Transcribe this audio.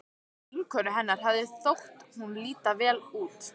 Vinkonu hennar hafði þótt hún líta vel út.